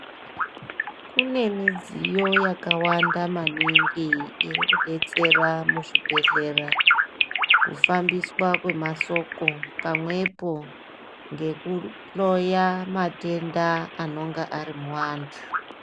Kune midziyo yakawanda maningi iri kudetsera muzvibhehlera kufambiswa kwemasoko pamwepo ngekuhloya matenda anenge ari muantu.